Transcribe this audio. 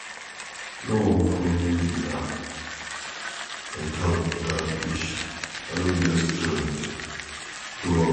I no wan follow una enter dat bush, I no get strength to run.